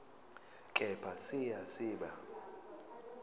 kepha siya siba